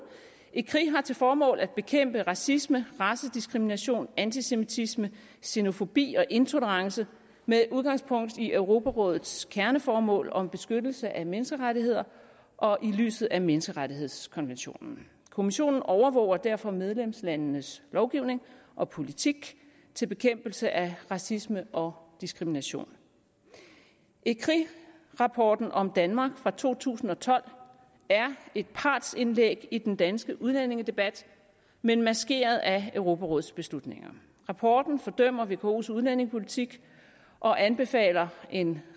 ecri har til formål at bekæmpe racisme racediskrimination antisemitisme zenofobi og intolerance med udgangspunkt i europarådets kerneformål om beskyttelse af menneskerettigheder og i lyset af menneskerettighedskonventionen kommissionen overvåger derfor medlemslandenes lovgivning og politik til bekæmpelse af racisme og diskrimination ecri rapporten om danmark fra to tusind og tolv er et partsindlæg i den danske udlændingedebat men maskeret af europarådets beslutninger rapporten fordømmer vkos udlændingepolitik og anbefaler en